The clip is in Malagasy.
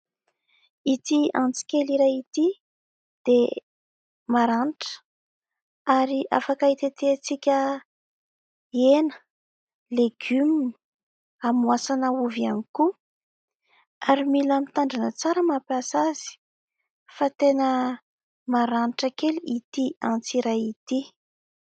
Ity antsy kely iray ity dia maranitra ary afaka hitetehantsika hena, legioma, amoasana ovy ihany koa ary mila mitandrina tsara mampiasa azy fa tena maranitra a kely ity antsy iray ity .